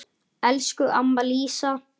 Elsku amma Lísa.